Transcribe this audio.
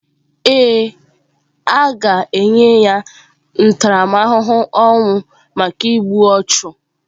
Ee, a ga-enye ya ntaramahụhụ ọnwụ maka igbu ọchụ.